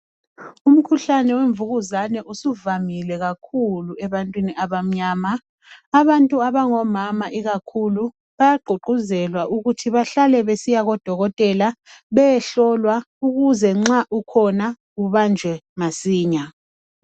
Umkhuhlane wemvukuzane usuvamile kakhulu ebantwini abamnyama. Abantu abangomama ikakhulu bayagqugquzelwa ukuthi bahlale besiya kubodokotela beyehlolwa ukuze nxa ukhona ubanjwe masinya.